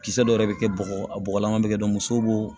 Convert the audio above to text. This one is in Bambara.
Kisɛ dɔ yɛrɛ bɛ kɛ bɔgɔ a bɔgɔlama bɛ kɛ muso b'o